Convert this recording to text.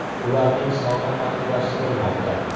Ularning soni aniqlashtirilmoqda.